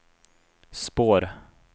spår